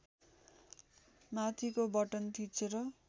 माथिको बटन थिचेर